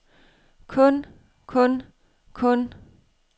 kun kun kun